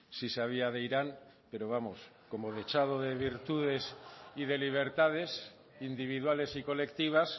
sí sabía de irán pero vamos como dechado de virtudes y de libertades individuales y colectivas